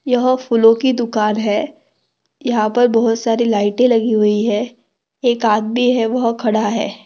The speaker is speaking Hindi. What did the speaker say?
यहाँ फूलो की दुकान है यहाँ पर बहुत सारे लाइटे लगी हुई है एक आदमी है वह खड़ा है।